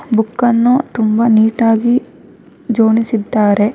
ಬುಕ್ಕನ್ನು ತುಂಬಾ ನೀಟಾಗಿ ಜೋಡಿಸಿದ್ದಾರೆ.